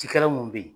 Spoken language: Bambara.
Cikɛla mun bɛ yen